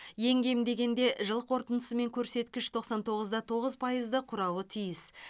ең кем дегенде жыл қорытындысымен көрсеткіш тоқсан тоғыз да тоғыз пайызды құрауы тиіс